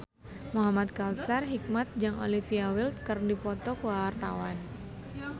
Muhamad Kautsar Hikmat jeung Olivia Wilde keur dipoto ku wartawan